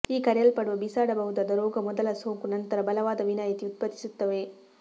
ಈ ಕರೆಯಲ್ಪಡುವ ಬಿಸಾಡಬಹುದಾದ ರೋಗ ಮೊದಲ ಸೋಂಕು ನಂತರ ಬಲವಾದ ವಿನಾಯಿತಿ ಉತ್ಪತ್ತಿಸುತ್ತವೆ